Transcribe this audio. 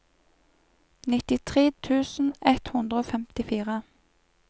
nittitre tusen ett hundre og femtifire